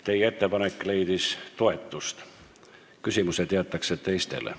Teie ettepanek leidis toetust, küsimused esitatakse teistele.